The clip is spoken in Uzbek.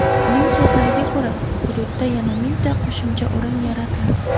Uning so‘zlariga ko‘ra, hududda yana mingta qo‘shimcha o‘rin yaratiladi.